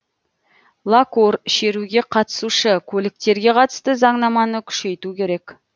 лакур шеруге қатысушы көліктерге қатысты заңнаманы күшейту керек